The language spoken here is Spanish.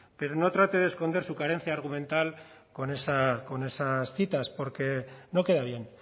pero no trate de esconder su carencia argumental con esas citas porque no queda bien